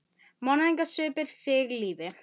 Hvar eru pabbi og mamma?